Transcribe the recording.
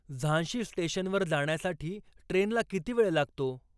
झांशी स्टेशनवर जाण्यासाठी ट्रेनला किती वेळ लागतो